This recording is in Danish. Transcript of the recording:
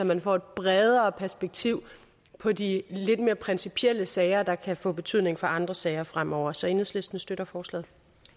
man får et bredere perspektiv på de lidt mere principielle sager der kan få betydning for andre sager fremover så enhedslisten støtter forslaget